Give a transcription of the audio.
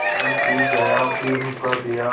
चिलम पी गाया फिर हुक्का पिया